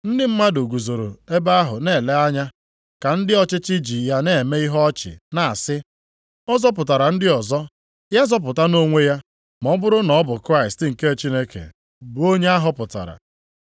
Ndị mmadụ guzoro ebe ahụ na-ele anya, ka ndị ọchịchị ji ya na-eme ihe ọchị, na-asị, “Ọ zọpụtara ndị ọzọ, ya zọpụtanụ onwe ya, ma ọ bụrụ na ọ bụ Kraịst nke Chineke, bụ Onye a họpụtara.”